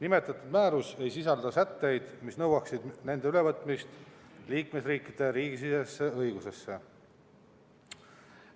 Nimetatud määrus ei sisalda sätteid, mis nõuaksid nende ülevõtmist liikmesriikide riigisisesesse õigusesse.